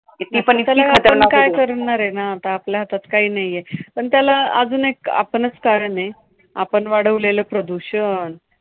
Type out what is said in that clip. ती पण इतकी खतरनाक होती. त्याला आपण काय करणारे ना, आता आपल्या हातात काही नाहीये. पण त्याला अजून एक, आपणच कारणेय. आपण वाढवलेलं प्रदूषण